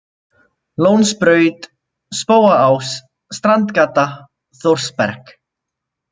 Lónsbraut, Spóaás, Strandgata, Þórsberg